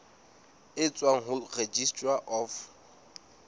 e tswang ho registrar of